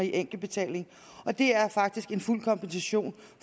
i enkeltbetaling og det er faktisk en fuld kompensation